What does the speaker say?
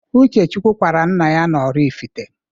Uchechukwu kwara nna ya na-Oraifite.